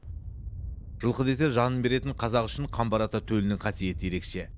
жылқы десе жанын беретін қазақ үшін қамбар ата төлінің қасиеті ерекше